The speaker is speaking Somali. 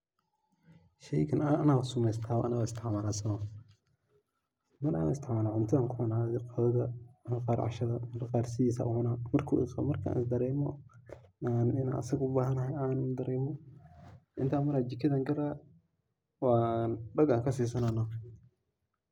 Sheygan anaba sameeysta anaba isticmaala soma oho. ana isticmaala cuntada ayan ku isticmaala, qadada, marar qaar cashada marar qaar sidiis ayan kucunaa markan is dareemo marka an inan asaga ubahanahay an dareemo intan maraa jikadan gelaa wan dhag ankasisanaa noh